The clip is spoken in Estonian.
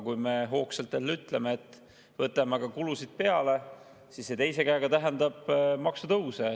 Kui me hoogsalt jälle ütleme, et võtame aga kulusid peale, siis see teiselt poolt tähendab maksutõuse.